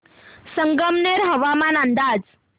संगमनेर हवामान अंदाज